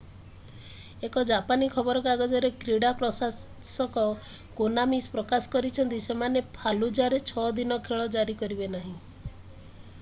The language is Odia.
ଏକ ଜାପାନୀ ଖବର କାଗଜରେ କ୍ରୀଡା ପ୍ରକାଶକ କୋନାମୀ ପ୍ରକାଶ କରିଛନ୍ତି ସେମାନେ ଫାଲୁଜାରେ 6 ଦିନ ଖେଳ ଜାରି କରିବେ ନାହିଁ